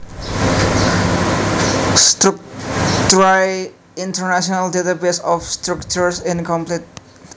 Structurae International database of structures incomplete